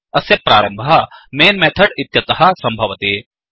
अस्य प्रारम्भः mainमेन् मेथड् इत्यतः सम्भवति